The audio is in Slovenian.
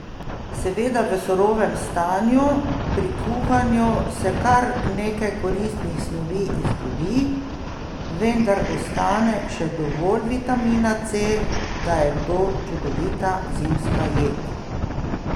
Seveda v surovem stanju, pri kuhanju se kar nekaj koristnih snovi izgubi, vendar ostane še dovolj vitamina C, da je to čudovita zimska jed.